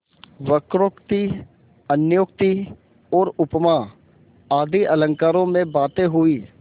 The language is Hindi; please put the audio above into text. वक्रोक्ति अन्योक्ति और उपमा आदि अलंकारों में बातें हुईं